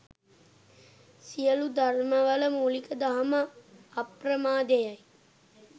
සියලු ධර්මවල මූලික දහම අප්‍රමාදය යි.